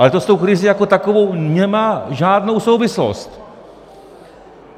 Ale to s tou krizí jako takovou nemá žádnou souvislost.